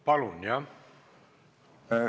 Palun!